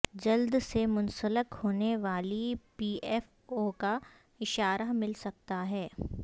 جلد سے منسلک ہونے والی پی ایف او کا اشارہ مل سکتا ہے